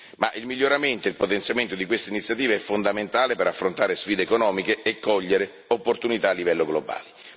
Ma il miglioramento e il potenziamento di queste iniziative sono fondamentali per affrontare sfide economiche e cogliere opportunità a livello globale.